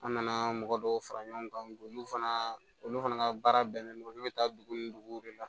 An nana mɔgɔ dɔw fara ɲɔgɔn kan olu fana olu fana ka baara bɛnnen don olu bɛ taa dugu ni dugu de la